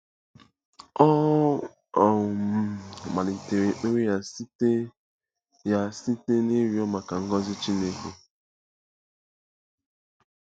Ọ um malitere ekpere ya site ya site n’ịrịọ maka ngọzi Chineke.